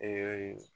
Ee